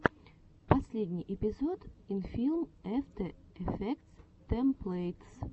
последний эпизод инфилм эфтэ эфектс тэмплэйтс